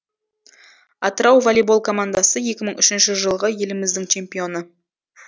атырау волейбол командасы екі мың үшінші жылғы еліміздің чемпионы